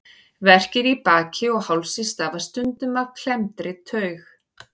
Verkir í baki og hálsi stafa stundum af klemmdri taug.